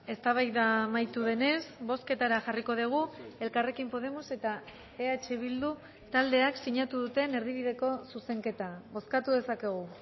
eztabaida amaitu denez bozketara jarriko dugu elkarrekin podemos eta eh bildu taldeak sinatu duten erdibideko zuzenketa bozkatu dezakegu